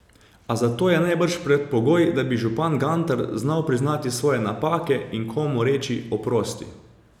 A za to je najbrž predpogoj, da bi župan Gantar znal priznati svoje napake in komu reči oprosti.